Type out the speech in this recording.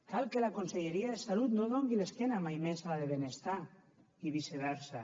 cal que la conselleria de salut no doni l’esquena mai més a la de benestar i viceversa